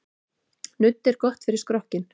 Nudd er gott fyrir skrokkinn.